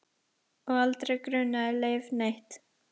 Og aldrei grunaði Leif neitt.